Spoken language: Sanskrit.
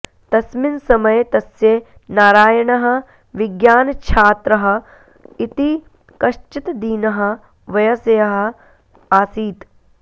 तस्मिन् समये तस्य नारायणः विज्ञानच्छात्रः इति कश्चित् दीनः वयस्यः आसीत्